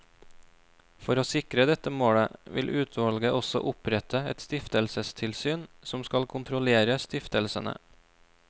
For å sikre dette målet, vil utvalget også opprette et stiftelsestilsyn, som skal kontrollere stiftelsene.